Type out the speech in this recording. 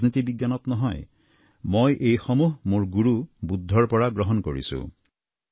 ৰাজনীতি বিজ্ঞানত নহয় মই এইসমূহ গুৰু বুদ্ধৰ পৰা গ্ৰহণ কৰিছোঁ